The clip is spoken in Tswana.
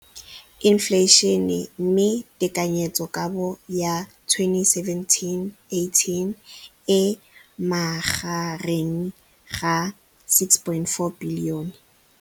Infleišene, mme tekanyetsokabo ya 2017, 18, e magareng ga R6.4 bilione.